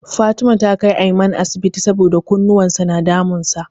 Fatima ta kai Aiman asibiti saboda kunnuwan sa na damun sa.